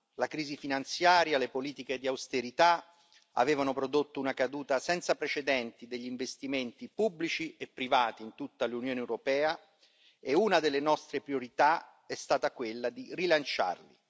La crisi finanziaria, le politiche di austerità avevano prodotto una caduta senza precedenti degli investimenti pubblici e privati in tutta l'Unione europea e una delle nostre priorità è stata quella di rilanciarli.